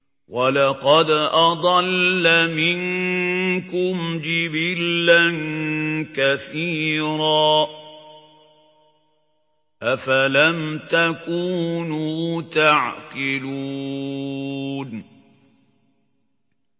وَلَقَدْ أَضَلَّ مِنكُمْ جِبِلًّا كَثِيرًا ۖ أَفَلَمْ تَكُونُوا تَعْقِلُونَ